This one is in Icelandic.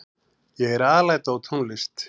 Ég er alæta á tónlist.